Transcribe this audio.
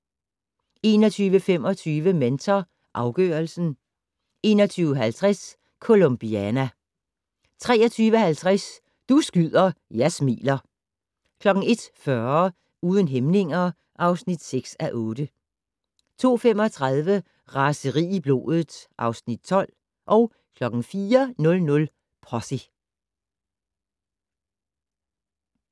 21:25: Mentor afgørelsen 21:50: Colombiana 23:50: Du skyder, jeg smiler 01:40: Uden hæmninger (6:8) 02:35: Raseri i blodet (Afs. 12) 04:00: Posse